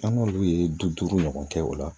An n'olu ye du duuru ɲɔgɔn kɛ o la